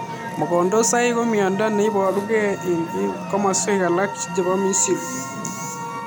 Mogondosaik ko miondo neiparuu gei eng kimaswek alak chepoo misrii